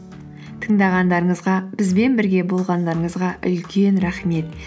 тыңдағандарыңызға бізбен бірге болғандарыңызға үлкен рахмет